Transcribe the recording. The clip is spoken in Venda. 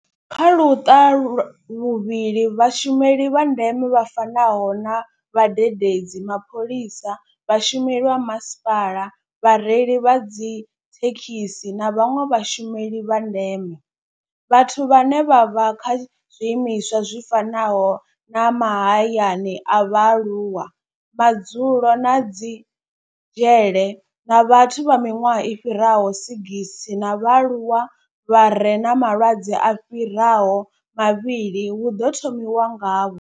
Kha Luṱa luvhili, Vhashumeli vha ndeme vha fanaho na vhadededzi, mapholisa, vhashumeli vha masipala, vhareili vha dzithekhisi na vhanwe vhashumeli vha ndeme vhathu vhane vha vha kha zwiimiswa zwi fanaho na mahayani a vhaaluwa, madzulo na dzi dzhele na vhathu vha miṅwaha i fhiraho 60 na vhaaluwa vha re na malwadze a fhiraho mavhili hu ḓo thomiwa ngavho.